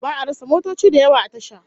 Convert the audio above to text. Ba'a rasa motoci da yawa a tasha